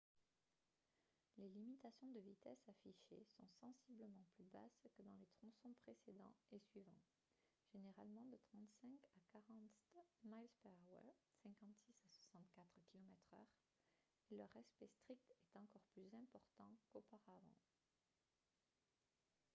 les limitations de vitesse affichées sont sensiblement plus basses que dans les tronçons précédents et suivants – généralement de 35 à 40 mph 56-64 km/h – et leur respect strict est encore plus important qu'auparavant